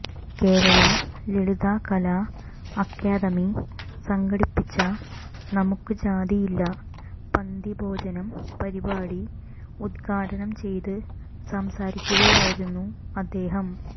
കേരള ലളിതകലാ അക്കാദമി സംഘടിപ്പിച്ച നമുക്ക് ജാതിയില്ല പന്തിഭോജനം പരിപാടി ഉദ്ഘാടനം ചെയ്ത് സംസാരിക്കുകയായിരുന്നു അദ്ദേഹം